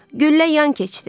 Güllə yan keçdi.